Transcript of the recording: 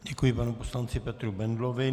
Děkuji panu poslanci Petru Bendlovi.